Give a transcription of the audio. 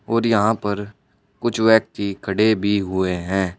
और यहां पर कुछ व्यक्ति खड़े भी हुए है।